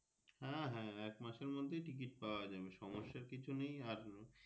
হ্যাঁ হ্যাঁ একমাসের মধ্যে Ticket পাওয়া যাবে সমস্যার কিছু নেই আর।